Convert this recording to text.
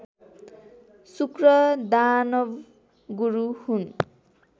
शुक्र दानवगुरु हुन्